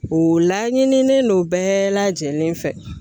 O laɲininen don bɛɛ lajɛlen fɛ